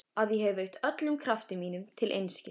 Að ég hef eytt öllum krafti mínum til einskis.